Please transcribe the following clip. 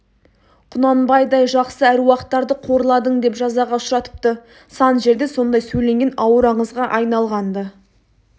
құнанбайдай жақсы әруақтарды қорладың деп жазаға ұшыратыпты сан жерде сондай сөйленген ауыр аңызға айналған-ды